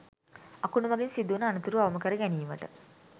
අකුණු මඟින් සිදුවන අනතුරු අවම කර ගැනීමට